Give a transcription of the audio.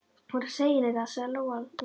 Þú verður að segja henni það, sagði Lóa Lóa.